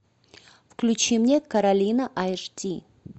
включи мне каролина аш ди